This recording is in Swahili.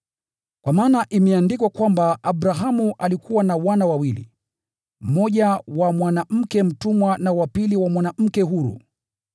Kwa maana imeandikwa kwamba Abrahamu alikuwa na wana wawili, mmoja wa mwanamke mtumwa na wa pili wa mwanamke huru.